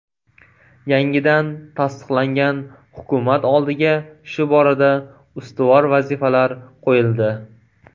Yangidan tasdiqlangan hukumat oldiga shu borada ustuvor vazifalar qo‘yildi.